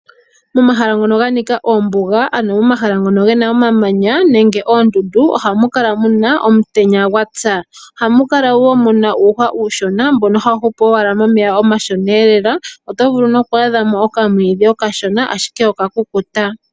Momahala mono mwa nika oombuga nenge momahala ngono mu na omamanya noondundu oha mu kala omutenya gwa tsa. Oha mu kala woo mu na uuhwa uushona mbono ha wu hupu komeya omashona. Oto vulu woo oku adha mo okamwiidhi ka kukuta.